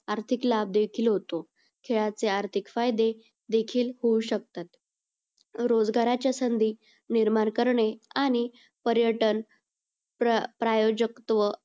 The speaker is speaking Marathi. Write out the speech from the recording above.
आर्थिक लाभ देखील होतो. खेळाचे आर्थिक फायदे देखील होऊ शकतात. रोजगाराच्या संधी निर्माण करणे आणि पर्यटन प्रायोजकत्व